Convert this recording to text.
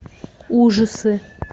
ужасы